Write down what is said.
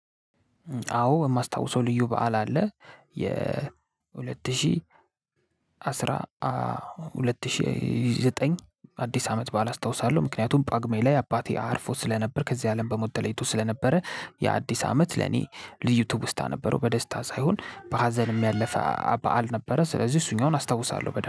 አዎ የማስታውሰው ልዩ በዓል አለ የሁለት ሺህ አስራ ሁለት ሺህ ዘጠኝ አዲስ አመት በዓል አስታውሳለሁ። ምክንያቱም ጳጉሜ ላይ አባቴ አርፎ ስለነበር ከዚህ አለም በሞት ተለይቶ ስለነበረ የአዲስ አመት ለኔ ልዩ ትውስታ ነበረው በደስታ ሳይሆን በሀዘንም ያለፈ በዓል ነበረ። ስለዚህ እሱኛውን አስታውሳለሁ በደንብ